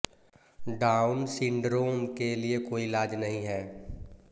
down syndrome के लिए कोई इलाज नहीं है